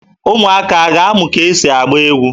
Ụmụaka a a ga-amụ ka e si agba egwu?